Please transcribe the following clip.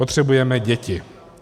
Potřebujeme děti.